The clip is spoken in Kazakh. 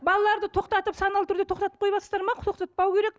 балаларды тоқтатып саналы түрде тоқтатып қойыватсыздар ма тоқтатпау керек